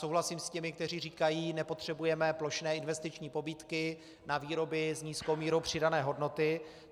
Souhlasím s těmi, kteří říkají: nepotřebujeme plošné investiční pobídky na výroby s nízkou mírou přidané hodnoty.